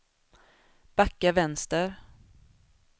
backa vänster